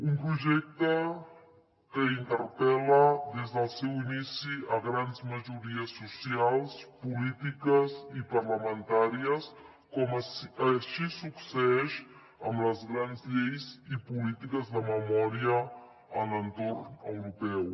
un projecte que interpel·la des del seu inici grans majories socials polítiques i parlamentàries com així succeeix amb les grans lleis i polítiques de memòria en l’entorn europeu